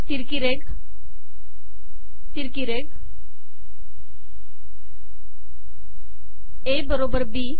तिरकी रेघ तिरकी रेघ ए बरोबर बी